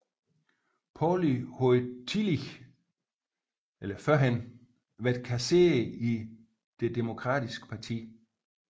Pauley havde tidligere været kasserer i det Demokratiske parti